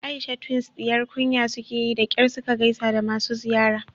Aisha twins diyar kunya sukeyi da kyar suka gaisa da masu ziyara